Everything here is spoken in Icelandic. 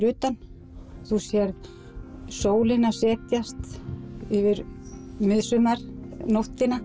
utan þú sérð sólina setjast yfir